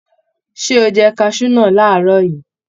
Ṣé o jẹ kaṣú náà làárọ̀ yìí?